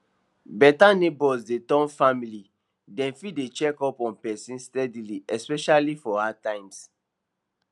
beta neighbors dey turn family dem fit dey check up on person steadyily especially for hard times